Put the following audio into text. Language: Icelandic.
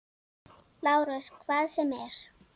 LÁRUS: Hvað sem er.